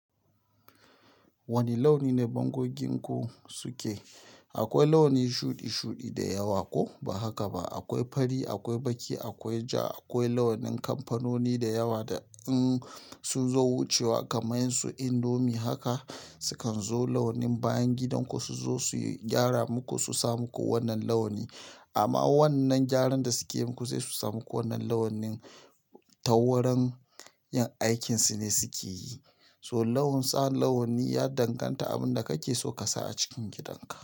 Wane launi ne dangoginku suke? Akwai launi shuɗu-shuɗu da yawa ko ba haka ba. Akwai fari, akwai baƙi, akwai ja, akwai launin kamfanoni da yawa da in su zo wucewa kamar su Indomie haka sukan zo launin bayan gidanku su zo su gyara muku su sa muku wannan launi. Amma wannan gyaran da suke yi muku sai su sa muku wannan launi ta wurin yin aikinsu ne suke yi. So launin tsan launi ya danganta abin da kake so ka sa a cikin gidanka.